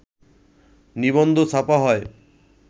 নিবন্ধ ছাপা হয়,